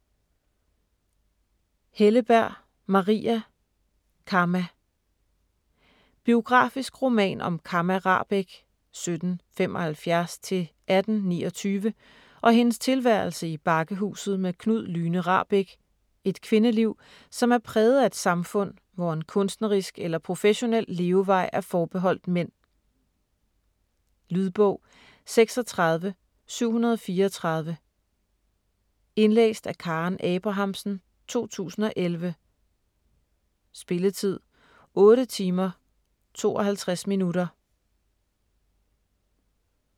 Helleberg, Maria: Kamma Biografisk roman om Kamma Rahbek (1775-1829) og hendes tilværelse i Bakkehuset med Knud Lyne Rahbek, et kvindeliv, som er præget af et samfund, hvor en kunstnerisk eller professionel levevej er forbeholdt mænd. Lydbog 36734 Indlæst af Karen Abrahamsen, 2011. Spilletid: 8 timer, 52 minutter.